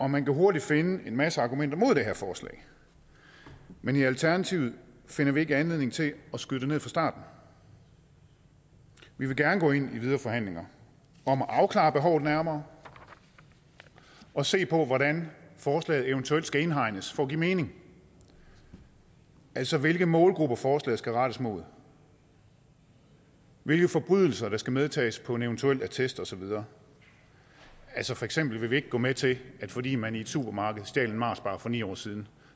man kan hurtigt finde en masse argumenter imod det her forslag men i alternativet finder vi ikke anledning til at skyde det ned fra starten vi vil gerne gå ind i videre forhandlinger om at afklare behovet nærmere og se på hvordan forslaget eventuelt skal indhegnes for at give mening altså hvilke målgrupper forslaget skal rettes mod hvilke forbrydelser der skal medtages på en eventuel attest og så videre for eksempel vil vi ikke gå med til at fordi man i et supermarked stjal en marsbar for ni år siden